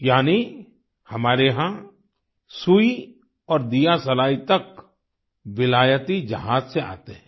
यानि हमारे यहां सुई और दियासलाई तक विलायती जहाज से आते हैं